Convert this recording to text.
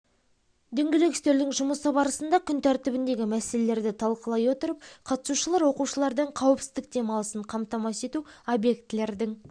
дөңгелек үстелдің жұмысы барысында күн тәртібіндегі мәселелерді талқылай отырып қатысушылар оқушылардың қауіпсіздік демалысын қамтамасыз ету объектілердің